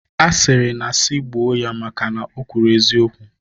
A sịrị na sị gbuo ya maka na o kwuru eziokwu.